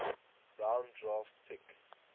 round draft pick